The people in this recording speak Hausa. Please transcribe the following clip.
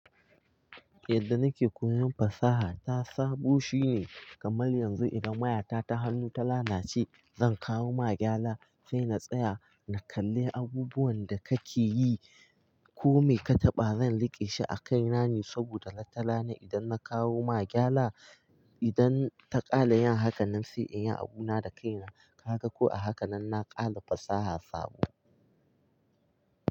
Yadda nake koyon fasaha ta sabo shine kamar yanzu idan wayata ta hannu ta lalace zan kawo magyala sai na tsaya na kalli abubuwan da kake yi ko me ka taɓa zan riƙe shi a kai na ne saboda watarana idan na kawo magyala idan ta ƙale yin hakan nan sai in yi abu na da kaina. Kaga ko a haka nan na ƙala fasaha sabo.